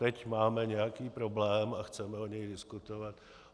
Teď máme nějaký problém a chceme o něm diskutovat.